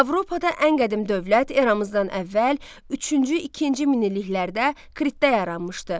Avropada ən qədim dövlət eramızdan əvvəl üçüncü, ikinci minilliklərdə Kritdə yaranmışdı.